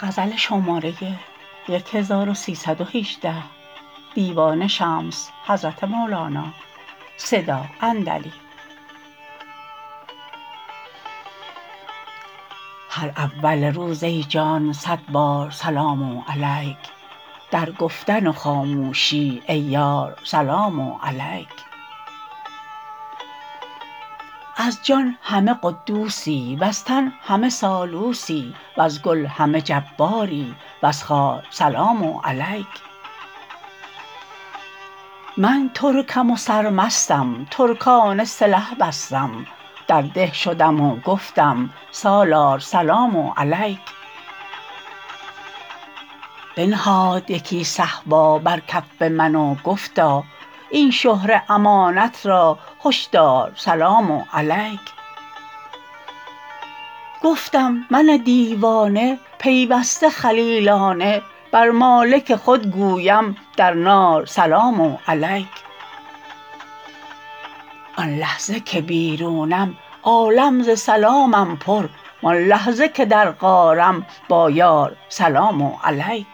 هر اول روز ای جان صد بار سلام علیک در گفتن و خاموشی ای یار سلام علیک از جان همه قدوسی وز تن همه سالوسی وز گل همه جباری وز خار سلام علیک من ترکم و سرمستم ترکانه قلج بستم در ده شدم و گفتم سالار سلام علیک بنهاد یکی صهبا بر کف من و گفتا این شهره امانت را هشدار سلام علیک گفتم من دیوانه پیوسته خلیلانه بر مالک خود گویم در نار سلام علیک آن لحظه که بیرونم عالم ز سلامم پر وان لحظه که در غارم با یار سلام علیک